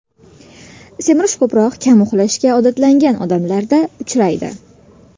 Semirish ko‘proq kam uxlashga odatlangan odamlarda uchraydi.